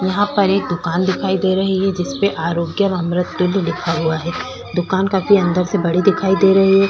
यहाँ पर एक दुकान दिखाई दे रही है जिसपे आरोग्य अमृततुल्य लिखा हुआ है दुकान काफी अंदर से बड़े दिखाई दे रहै है।